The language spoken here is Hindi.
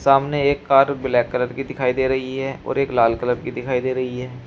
सामने एक कार ब्लैक कलर की दिखाई दे रही है और एक लाल कलर की दिखाई दे रही है।